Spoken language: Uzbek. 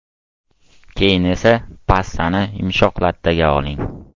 Keyin esa pastani yumshoq lattaga oling.